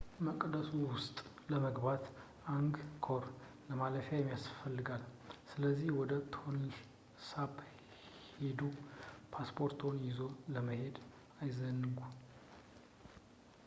መቅደሱ ውስጥ ለመግባት አንግኮር ማለፊያ ያስፈልጋል ስለዚህ ወደ ቶንል ሳፕ ሲሄዱ ፖስፖርትዎን ይዞ መሄድ አይዘንጉ